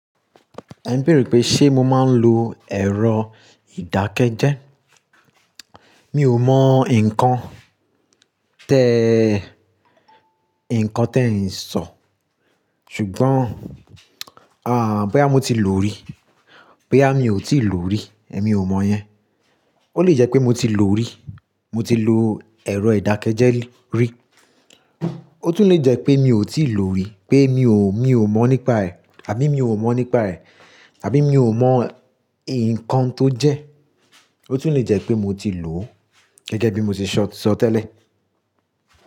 Ẹ ń béèrè pé ṣé mo máa ń lo ẹ̀rọ ìdákẹ́jẹ́. Mi ò mọ nǹkan tẹ, nǹkan tẹ ń sọ. Ṣùgbọ́n, bóyá mo ti lò ó rí, bóyá mi ò tíì lò ó rí, èmi ò mọ yẹn. Ó lè jẹ́ pé mo ti lò ó rí, mo ti lo ẹ̀rọ ìdákẹ́jẹ́ rí. Ó tún lè jẹ́ pé mi ò tíì lò ó rí, pé mi ò, mi ò mọ̀ nípa ẹ̀, àbí mi ò mọ̀ nípa ẹ̀, àbí mi ò mọ nǹkan tó jẹ́. Ó tún lè jẹ́ pé mo ti lò ó gẹ́gẹ́ bí mo ṣe sọ, sọ tẹ́lẹ̀